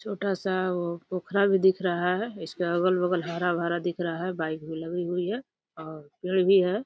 छोटा सा वो पोखरा भी दिख रहा है। इसके अगल बगल हराभरा दिख रहा है। बाइक भी लगी हुई है और पेड़ भी है।